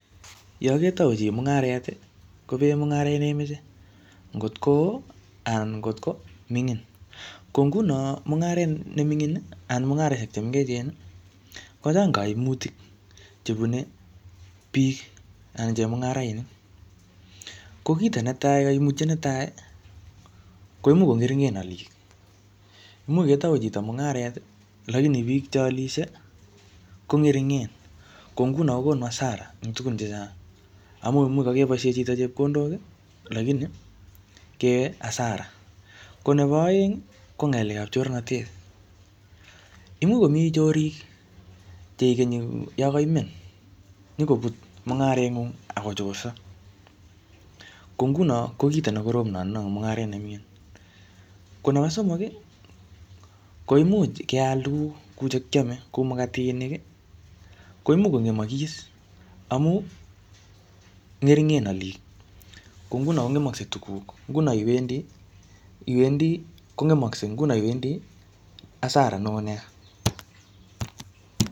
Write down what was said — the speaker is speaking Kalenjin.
Yaketau chi mung'aret, kopee mung'aret ne imache, ngot ko oo anan ngotko ming'in. Ko nguno mung'aret ne ming'in, anan mungareshek che mengechen, kochang kaimutik che bune biik, anan chemung'arainik. Ko kito netai kaimutiet netai, koimuch ko ng'ering'en alik. Imuch ketau chito mungaret, lakini biik che alisie, ko ngeringen. Ko nguno kokonu hasara eng tugun chechang, amu imuch kakeboisie chito chepkondok lakini keyai hasara. Ko nebo aeng, ko ngalekab chornatet. Imuch komii chorik, che ikenyi yokoimen, nyikobut mung'aret ng'ung' akochorso. Ko nguno ko kito ne korom notono eng mung'aret ne mingin. Ko nebo somok, koimuch keal tuguk kou che kiame kou mukatinik, ko imuch kongemakis, amu ngeringen alik. Ko nguno kongemkase tuguk. Nguno iwendi, iwendi kongemakse, ko nguno iwendi hasara neoo nea.